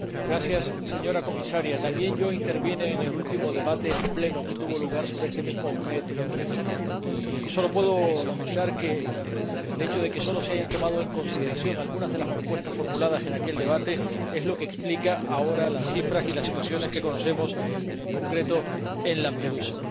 Señora Presidenta, señora Comisaria, también yo intervine en el último debate que tuvo lugar en el Pleno sobre este mismo tema y solo puedo lamentar que el hecho de que solo se hayan tomado en consideración algunas de las propuestas formuladas en aquel debate es lo que explica ahora las cifras y las situaciones que conocemos, en concreto, en Lampedusa.